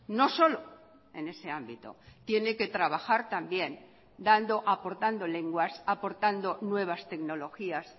no solo en ese ámbito tiene que trabajar también dando aportando lenguas aportando nuevas tecnologías